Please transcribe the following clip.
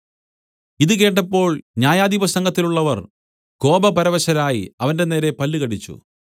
ഇതു കേട്ടപ്പോൾ ന്യായാധിപസംഘത്തിലുള്ളവർ കോപപരവശരായി അവന്റെനേരെ പല്ലുകടിച്ചു